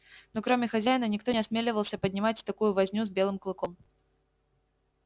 но кроме хозяина никто не осмеливался поднимать такую возню с белым клыком